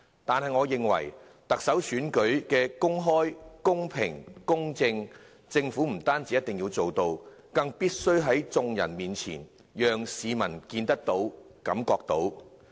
但是，我認為確保特首選舉得以公開、公平、公正地進行，政府不單一定要做到，更必須讓一眾市民看得到，也感受得到。